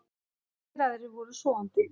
Allir aðrir voru sofandi.